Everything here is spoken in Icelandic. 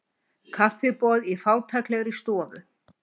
Kaffiboð í fátæklegri stofu.